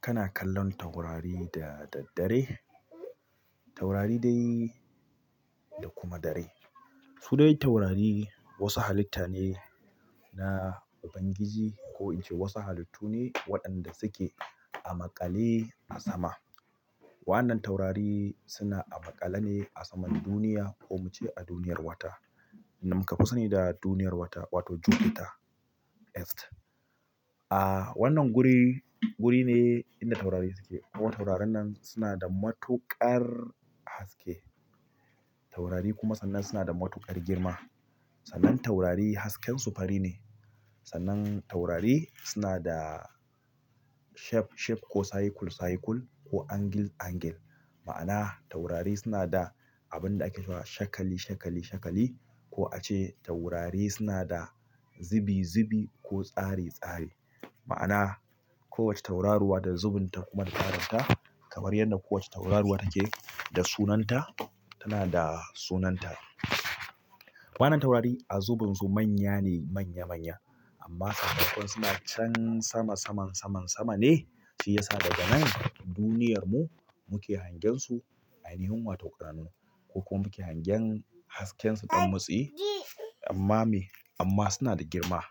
Kana kallon taurari da daddare? Taurari dai da kuma da rai. Su dai taurari wasu halitta ne na ubangiji ko ince wasu halittu ne waɗanda suke a maƙale a sama. Wannan taurari suna a maƙale ne a saman duniya ko mu ce a duniyar wata. Wanda muka fi sani da duniyar wata wato Jupiter, Earth. A wannan guri, guri ne inda taurari suke hawa taurarin nan suna da matuƙar haske. Taurari kuma sannan suna da matuƙar girma. Sannan taurari hasken su fari ne. Sannan taurari suna da shape, shape ko cycle, cycle ko angle, angle. Ma'ana taurari suna da abun da ake ce wa shakali, shakali, shakali ko ace taurari suna da zubi, zubi ko tsari, tsari. Ma'ana kowace tauraruwa da zubun ta kuma da tsarin ta. Kamar yadda kowace tauraruwa take da sunan ta, tana da sunan ta. Wannan taurari a zubun su manya ne, manya, manya. Amma sakamakon suna can sama, saman, saman, sama ne shi yasa daga nan duniyar mu muke hangen su aini wato ƙananu. Ko kuma muke hagensu hasken su ɗan mitsi amma me? Amma suna da girma.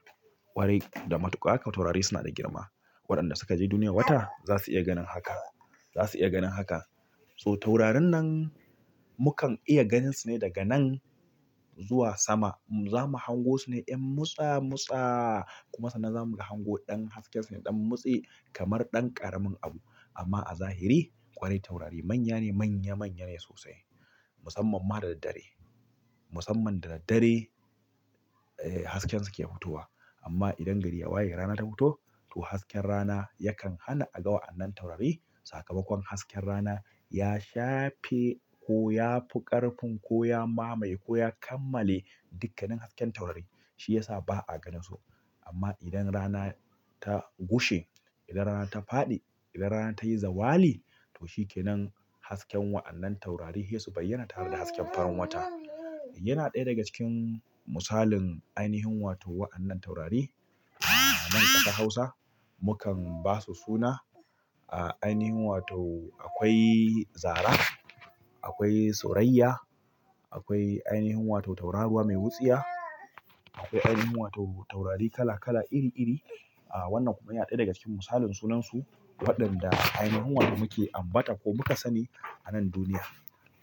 Ƙwarai da matuƙa taurari suna da girma. Waɗanda suka je duniya wata za su iya ganin haka. Za su iya ganin haka. So taurarin nan mukan iya ganin su ne daga nan zuwa sama. Zamu hango su ne yan motsa, motsa. Kuma sannan za mu hango ɗan hasken su ne ɗan motsi kamar ɗan ƙaramin abu. Amma a zahiri ƙwarai taurari manya ne, manya, manya ne sosai. Musamman ma da daddare. Musamman da daddare, eh hasken su ke futuwa. Amma idan gari ya waye rana ta fito, to hasken rana yakan hana a ga wa'annan taurari. Sakamakon hasken rana ya shafe ko ya fi ƙarfin ko ya mamaye ko ya kammale dukkanin hasken taurari. Shi yasa ba a gani su. Amma idan rana ta gushe, idan rana ta faɗi, idan rana ta yi zawali to shi ke nan hasken wa'annan taurari sai su baiyana tare da hasken farin wata. Yana ɗaya daga cikin misalin ainihin wato wa'annan taurari. A nan ƙasa Hausa mu kan ba su suna. A ainihin wato akwai Zara, akwai Suraiya akwai ainihin wato tauraruwa mai wutsiya, akwai ainihin wato taurari kala kala iri iri. A wannan kuma yana ɗaya daga cikin misalin sunansu waɗanda ainihin wato muke ambata ko muka sani a nan duniya.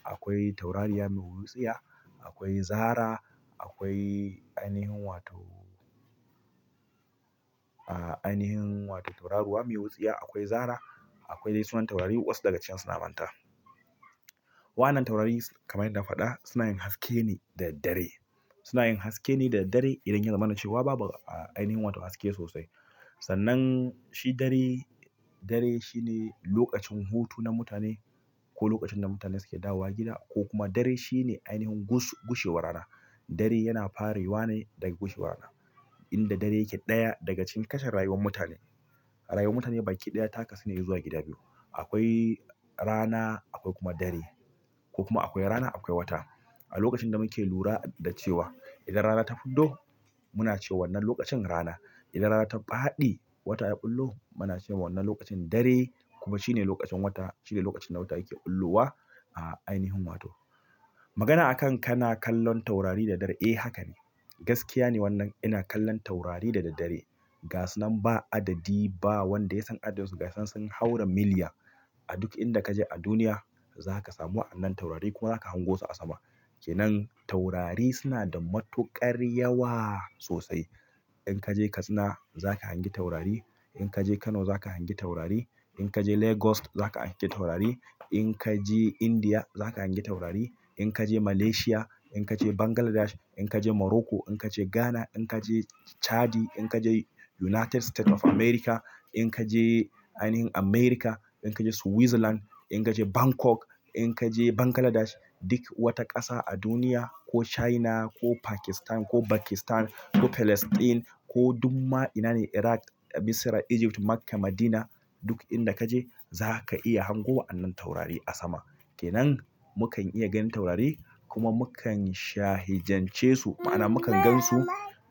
Akwai taurariya mai wutsiya, akwai Zara, akwai ainihin wato, a ainihin wato tauraruwa mai wutsiya, akwai Zara. Akwai dai sunan taurari wasu daga cikin su na manta. Wannan taurari kamar inada na faɗa suna yin haske ne da daddare. Suna yin haske ne da daddare idan ya zama na cewa babu a ainihin wato haske sosai. Sannan shi dare, dare shi ne lokacin hutu na mutane ko lokacin da mutane suke dawowa gida ko kuma dare shi ne ainihin gus-gushewar rana. Dare yana fare wane daga gushewar rana. Inda dare yake ɗaya daga cikin kashin rayuwar mutane. Rayuwar mutane baki ɗaya taka su ne zuwa gida biyu. Akwai rana akwai kuma dare. Ko kuma akwai rana akwai wata. A lokacin da muke lura da cewa idan rana ta fito muna cewa wannan lokacin rana. Idan rana ta faɗi wata yafillo muna cewa wannan lokacin dare kuma shine lokacin wata, shine lokacin da wata yake fullowa a ainihin wato. Magana a kan kana kallon taurari da daddadare eh. Eh haka ne. Gaskiya ne wannan ina kallon taurari da daddare. Ga su nan ba adadi ba wanda ya san adadin su. Ga sun, sun haura miliya. A duk inda ka je a duniya za ka samu wa'annan taurari kuma za ka hango su a sama. Ke nan taurari suna da matuƙar yawa sosai. In ka je Katsina za ka hangi taurari. In ka je Kano za ka hangi taurari. In ka je Lagos za ka hangi taurari. In ka je India za ka hangi taurari. In ka je Malaysia, in ka je Bangladesh, in ka je Morocco, in ka je Ghana, in ka je Chadi, in ka je United State of America, in ka je ainihin America, in ka je Switzerland, in ka je Bangkok, in ka je Bangladesh, duk wata ƙasa a duniya ko China ko Pakistan ko Bakistan ko Palestine ko dumma ina ne Iraq, Misira, Egypt, Makka, Madina duk inda ka je za ka iya hango wa'annan taurari a sama. Ke nan mu kan iya ganin taurari kuma mu kan shahijance su. Ma'ana mu ka gan su,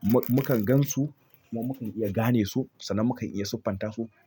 mu mu kan gan su kuma mu kan iya gane su sannan mu kan iya siffanta su.